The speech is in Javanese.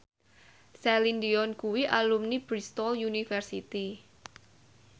Celine Dion kuwi alumni Bristol university